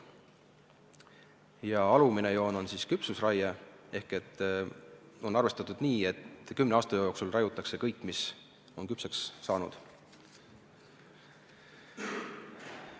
Ja alumine joon tähistab küpsusraiet ehk selle puhul on arvestatud nii, et kümne aasta jooksul raiutakse kõik, mis on küpseks saanud.